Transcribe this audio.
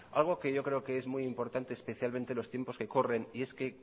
algo que yo creo que es muy importante especialmente en los tiempos que corren y es que